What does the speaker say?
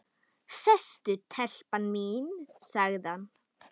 Sestu telpa mín, sagði hann.